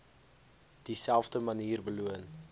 dieselfde manier beloon